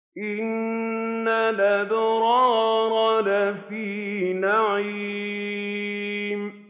إِنَّ الْأَبْرَارَ لَفِي نَعِيمٍ